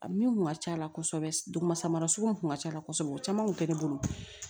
A min kun ka ca la kosɛbɛ duguma samara sugu mun kun ka ca kosɛbɛ o caman kun tɛ ne bolo